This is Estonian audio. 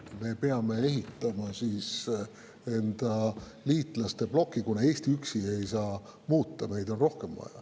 Me peame ehitama endale liitlaste bloki, kuna Eesti üksi ei saa midagi muuta, meid peab olema rohkem.